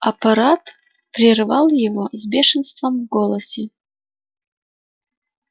аппарат прервал его с бешенством в голосе